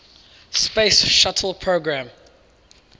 space shuttle program